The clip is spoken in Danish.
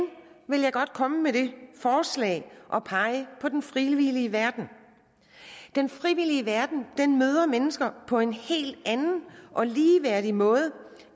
vil jeg godt komme med det forslag at pege på den frivillige verden den frivillige verden møder mennesker på en helt anden og ligeværdig måde